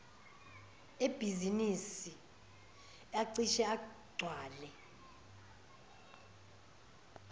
ebhizinisi acishe agcwale